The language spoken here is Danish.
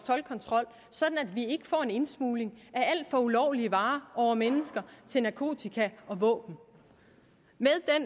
toldkontrol sådan at vi får en indsmugling af alt fra ulovlige varer over mennesker til narkotika og våben